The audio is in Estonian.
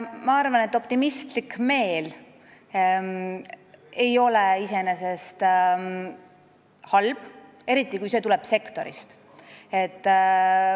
Ma arvan, et optimistlik meel ei ole iseenesest halb, eriti kui see tuleb sektorist.